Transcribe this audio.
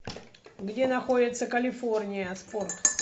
где находится калифорния спорт